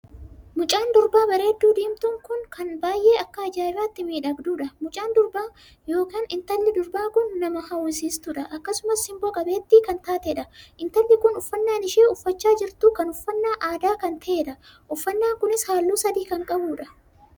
Mucaan durbaa bareedduu diimtuun kun kan baay'ee akka ajaa'ibaatti miidhagduudha. mucaan durbaa ykn intalli durbaa kun kan nam hawwisiistuudha. akkasumas sinboo qabeettii kan taateedha. intalli kun uffannaan isheen uffachaa jirtu kun uffannaa aadaa kan taheedha. uffannaan kunis halluu sadii kan qabuudha.